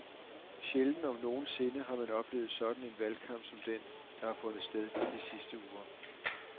Sjældent om nogen sinde har man oplevet sådan en valgkamp som den, der har fundet sted de sidste uger.